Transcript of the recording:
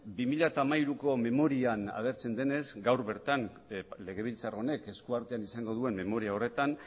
bi mila hamairuko memorian agertzen denez gaur bertan legebiltzar honek eskuartean izango duen memoria horretan